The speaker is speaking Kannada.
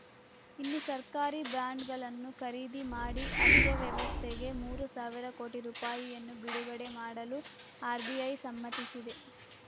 ಇನ್ನು ಸರ್ಕಾರಿ ಬಾಂಡ್‌ಗಳನ್ನು ಖರೀದಿ ಮಾಡಿ ಅರ್ಥವ್ಯವಸ್ಥೆಗೆ ಮೂರು ಸಾವಿರ ಕೋಟಿ ರುಪಾಯಿಯನ್ನು ಬಿಡುಗಡೆ ಮಾಡಲು ಆರ್‌ಬಿಐ ಸಮ್ಮತಿಸಿದೆ